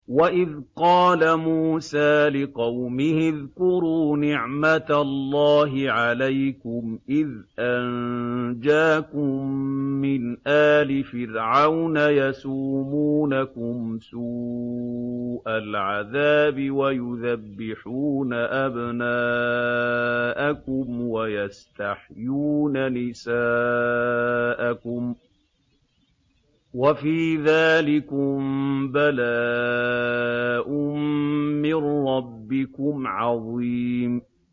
وَإِذْ قَالَ مُوسَىٰ لِقَوْمِهِ اذْكُرُوا نِعْمَةَ اللَّهِ عَلَيْكُمْ إِذْ أَنجَاكُم مِّنْ آلِ فِرْعَوْنَ يَسُومُونَكُمْ سُوءَ الْعَذَابِ وَيُذَبِّحُونَ أَبْنَاءَكُمْ وَيَسْتَحْيُونَ نِسَاءَكُمْ ۚ وَفِي ذَٰلِكُم بَلَاءٌ مِّن رَّبِّكُمْ عَظِيمٌ